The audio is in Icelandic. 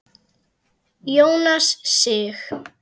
Jónas Sig.